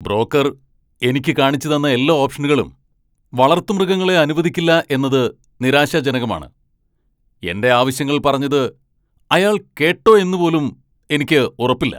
Broker എനിക്ക് കാണിച്ചുതന്ന എല്ലാ ഓപ്ഷനുകളും വളർത്തുമൃഗങ്ങളെ അനുവദിക്കില്ല എന്നത് നിരാശാജനകമാണ്. എന്റെ ആവശ്യങ്ങൾ പറഞ്ഞത് അയാൾ കേട്ടോ എന്ന് പോലും എനിക്ക് ഉറപ്പില്ല.